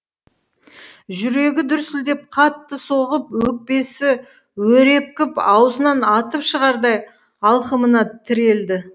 жүрегі дүрсілдеп қатты соғып өкпесі өрепкіп аузынан атып шығардай алқымына тірелді